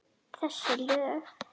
Þessi lög?